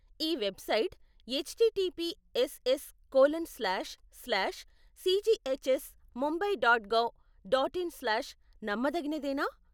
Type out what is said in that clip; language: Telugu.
ఈ website H T T P S S colon slash slash C G H S Mumbai dot gov dot in slash నమ్మదగినదేనా?